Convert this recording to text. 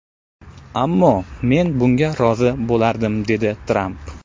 Ammo men bunga rozi bo‘lardim”, dedi Tramp.